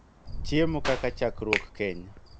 Chiemo kaka chakruok, keny,